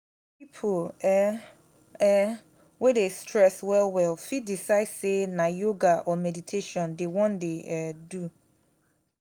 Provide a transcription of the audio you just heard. pipo um um wey dey stress well well fit decide sey na yoga or meditation dem wan dey um do